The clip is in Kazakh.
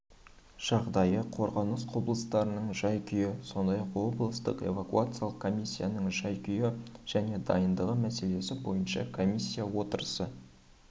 жағдайы қорғаныс құрылыстарының жай-күйі сондай-ақ облыстық эвакуациялық комиссияның жай-күйі және дайындығы мәселелері бойынша комиссия отырысы